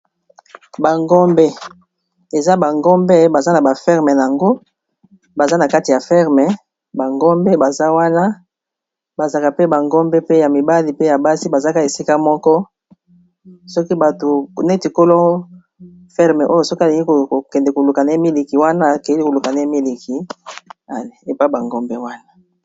Ba ngombe, eza ba ngombe baza na ba ferme nango, baza na kati ya ferme ,ba ngombe baza wana, bazalaka pe ba ngombe pe ya mibali , pe ya basi , bazalaka ésika moko, soki bato, néti kolo ferme oyo soki alingi kokende koluka na ye miliki wana, akéyi koluka na ye miliki épayi bangombe wana.